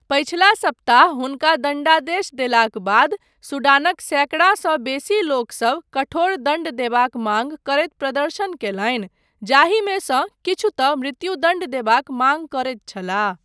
पछिला सप्ताह हुनका दण्डादेश देलाक बाद सूडानक सैकड़ासँ बेसी लोकसब कठोर दण्ड देबाक माँग करैत प्रदर्शन कयलनि जाहिमेसँ किछु तँ मृत्युदण्ड देबाक माँग करैत छलाह।